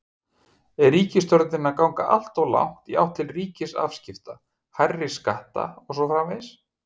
Er ríkisstjórnin að ganga alltof langt í átt til ríkisafskipta, hærri skatta og svo framvegis?